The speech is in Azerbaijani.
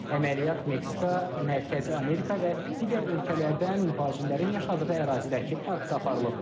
Əməliyyat Meksika, Mərkəzi Amerika və digər ölkələrdən mühacirlərin yaşadığı ərazidəki parkda aparılıb.